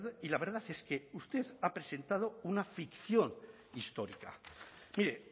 y la verdad es que usted ha presentado una ficción histórica mire